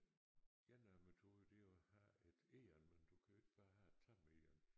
En af metoderne det er jo at have et egern men du kan jo ikke bare have et tamt egern